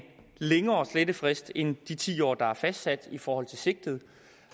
længere slettefrist end de ti år der er fastsat i forhold til sigtet